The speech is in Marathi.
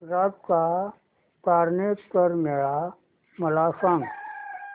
गुजरात चा तारनेतर मेळा मला सांग